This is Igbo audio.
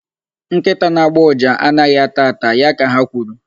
Nkịta na-agbọ uja anaghị ata ata. Ya ka ha kwuru.